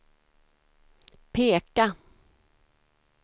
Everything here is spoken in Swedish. peka